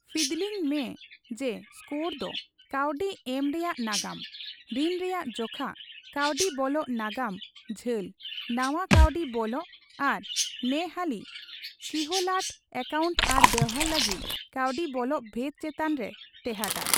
ᱯᱷᱤᱫᱞᱤᱝ ᱢᱮ ᱡᱮ ᱥᱠᱳᱨ ᱫᱚ ᱠᱟᱹᱣᱰᱤ ᱮᱢ ᱨᱮᱭᱟᱜ ᱱᱟᱜᱟᱢ, ᱨᱤᱱ ᱨᱮᱭᱟᱜ ᱡᱚᱠᱷᱟ, ᱠᱟᱹᱣᱰᱤ ᱵᱚᱞᱚᱜ ᱱᱟᱜᱟᱢ ᱡᱷᱟᱹᱞ, ᱱᱟᱣᱟ ᱠᱟᱹᱣᱰᱤ ᱵᱚᱞᱚᱜ ᱟᱨ ᱱᱮᱦᱟᱹᱞᱤ ᱠᱦᱤᱞᱟᱹᱴ ᱮᱠᱟᱭᱩᱱᱴ ᱟᱨ ᱵᱮᱣᱦᱟᱨ ᱞᱟᱹᱜᱤᱫ ᱠᱟᱹᱣᱰᱤ ᱵᱚᱞᱚᱜ ᱵᱷᱮᱫ ᱪᱮᱛᱟᱱ ᱨᱮ ᱴᱮᱦᱟᱴ ᱟ᱾